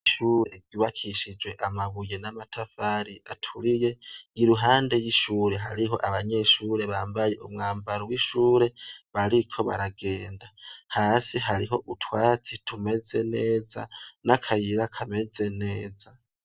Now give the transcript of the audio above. ikigo c' ishure cubakishijw' amabuye n' amatafar' aturiye, iruhande y'ishure har' abanyeshure bambay' umwambaro wishure bariko baragenda, hasi harih' utwatsi tumeze neza n' akayira kameze neza.